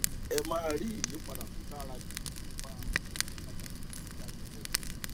ẹ máa rí ìyípadà tó dára jù nípa àwọn ìyípadà ìgbésí ayé wọnyí